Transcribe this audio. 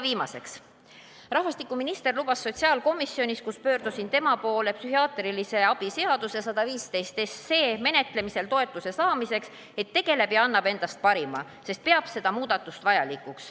Viimaseks, rahvastikuminister lubas sotsiaalkomisjonis, kus pöördusin tema poole psühhiaatrilise abi seaduse menetlemisel toetuse saamiseks, et tegeleb ja annab endast parima, sest peab seda muudatust vajalikuks.